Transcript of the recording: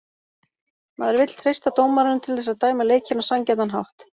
Maður vill treysta dómaranum til þess að dæma leikinn á sanngjarnan hátt